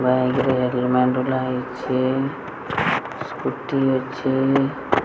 Bank ରେ ହେଇଛି scooty ଅଛି।